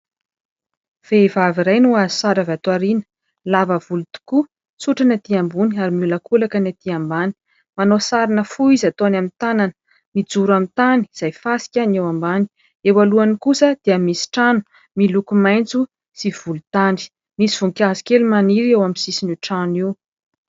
Vehivavy iray no azo sary avy ato ao aoriana lava volo tokoa, tsotra ny etỳ ambony ary miolakolaka ny etỳ ambany. Manao sarina fo izy ataony amin'ny tanana, mijoro amin'ny tany izay fasika ny eo ambany ; eo alohany kosa dia misy trano miloko maitso sy volontany, misy voninkazo kely maniry eo amin'ny sisiny io trano io.